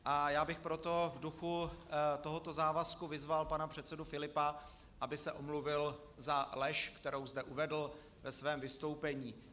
A já bych proto v duchu tohoto závazku vyzval pana předsedu Filipa, aby se omluvil za lež, kterou zde uvedl ve svém vystoupení.